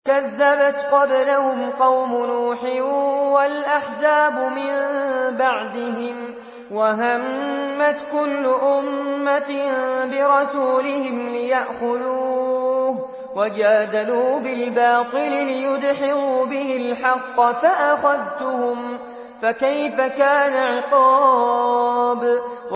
كَذَّبَتْ قَبْلَهُمْ قَوْمُ نُوحٍ وَالْأَحْزَابُ مِن بَعْدِهِمْ ۖ وَهَمَّتْ كُلُّ أُمَّةٍ بِرَسُولِهِمْ لِيَأْخُذُوهُ ۖ وَجَادَلُوا بِالْبَاطِلِ لِيُدْحِضُوا بِهِ الْحَقَّ فَأَخَذْتُهُمْ ۖ فَكَيْفَ كَانَ عِقَابِ